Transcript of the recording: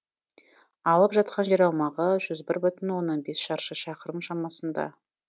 алып жатқан жер аумағы жүз бір бүтін оннан бес шаршы шақырым шамасында